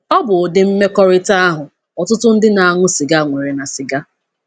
Ọ bụ ụdị mmekọrịta ahụ ọtụtụ ndị na-aṅụ sịga nwere na sịga.